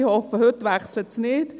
Ich hoffe, heute wechsle es nicht.